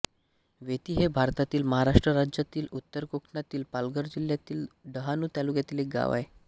वेती हे भारतातील महाराष्ट्र राज्यातील उत्तर कोकणातील पालघर जिल्ह्यातील डहाणू तालुक्यातील एक गाव आहे